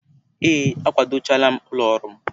Ee, akwado chaala m ụlọ ọrụ m.